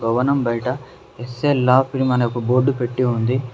భవనం బయట S L law firm అని బోర్డ్ పెట్టి ఉంది.